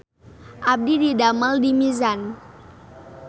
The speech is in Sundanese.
Abdi didamel di Mizan